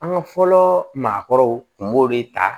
An ka fɔlɔ maakɔrɔw tun b'o de ta